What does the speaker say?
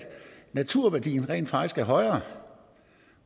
naturværdien rent faktisk er højere